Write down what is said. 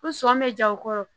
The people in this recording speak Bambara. Ko sɔmi bɛ ja o kɔrɔ